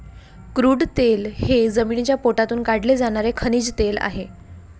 Crude तेल हे जमिनीच्या पोटातून काढले जाणारे खनिज तेल आहे.